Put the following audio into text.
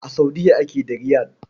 A Saudiya ake da Riyal.